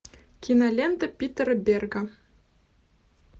кинолента питера берга